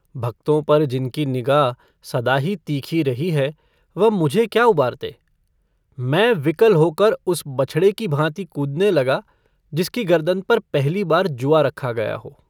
भक्तों पर जिनकी निगाह सदा ही तीखी रही है वह मुझे क्या उबारते मैं विकल होकर उस बछड़े की भाँति कूदने लगा जिसकी गरदन पर पहली बार जुआ रखा गया हो।